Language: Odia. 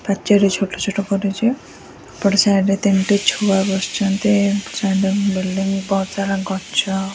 ପାଚେରୀ ଛୋଟଛୋଟ କରିଛୁ ଏପଟ ସାଇଡ ରେ ତିନଟି ଛୁଆ ବସଛନ୍ତି ବିଲ୍ଡିଂ ବହୁତସାରା ଗଛ --